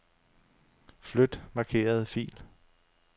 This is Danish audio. Flyt markerede fil.